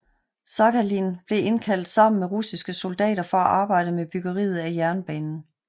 Sakhalin blev indkaldt sammen med russiske soldater for at arbejde med byggeriet af jernbanen